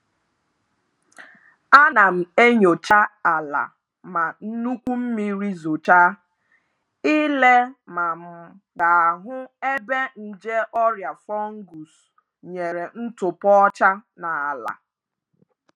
Ana m enyocha ala ma nnukwu mmiri zochaa, ile ma m ga-ahu ebe nje ọrịa fọnguus nyere ntụpọ ọcha n'ala.